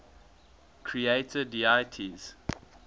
creator deities